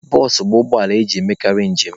Bụsụ bụ ụgbọala eji emekarị njem.